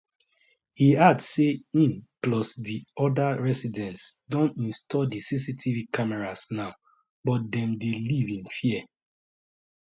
e add say im plus di oda residents don install di cctv cameras now but dem dey live in fear